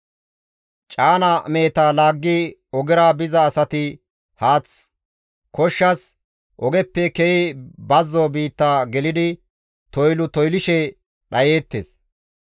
Caana meheta laaggi ogera biza asati haath koshshas ogeppe ke7i bazzo biitta gelidi toylu toylishe dhayeettes.